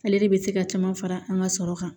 Ale de bɛ se ka caman fara an ka sɔrɔ kan